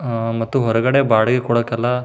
ಆಹ್ಹ್ ಮತ್ತು ಹೊರಗಡೆ ಬಾಡಿಗೆ ಕೊಡೋಕ್ ಎಲ್ಲ--